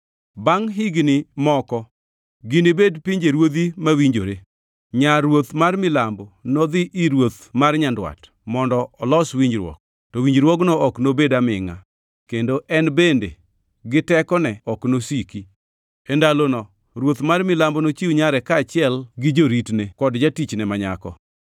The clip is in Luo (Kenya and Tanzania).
Bangʼ higni moko, ginibed pinjeruodhi mawinjore. Nyar ruoth mar Milambo nodhi ir ruoth mar Nyandwat mondo olos winjruok, to winjruogno ok nobedo amingʼa, kendo en bende, gi tekone, ok nosiki. E ndalono ruoth mar milambo nochiw nyare, kaachiel gi joritne ruoth kod jotichne ma nyako.